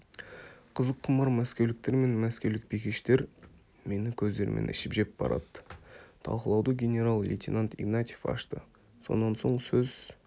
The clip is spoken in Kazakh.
қызыққұмар мәскеуліктер мен мәскеулік бикештер мені көздерімен ішіп-жеп барады талқылауды генерал-лейтенант игнатьев ашты сонан соң сөз